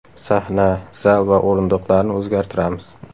Sahna, zal va o‘rindiqlarni o‘zgartiramiz.